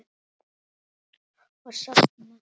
Og sofna.